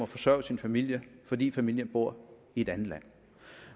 forsørge sin familie fordi familien bor i et andet land